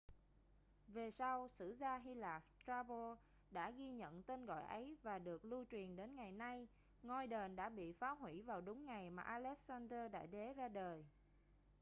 về sau sử gia hy lạp strabo đã ghi nhận tên gọi ấy và được lưu truyền đến ngày nay ngôi đền đã bị phá hủy vào đúng ngày mà alexander đại đế ra đời